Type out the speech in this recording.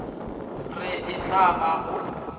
re e tla ba go